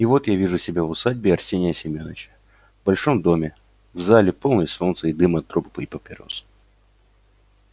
и вот я вижу себя в усадьбе арсения семёныча в большом доме в зале полной солнца и дыма от трубок и папирос